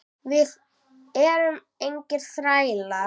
Við erum engir þrælar.